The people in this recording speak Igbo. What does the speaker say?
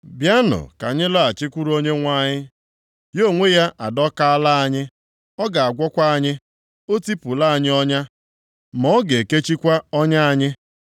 “Bịanụ ka anyị laghachikwuru Onyenwe anyị. Ya onwe ya adọkaala anyị, ọ ga-agwọkwa anyị; o tipụla anyị ọnya, ma ọ ga ekechikwa ọnya anyị.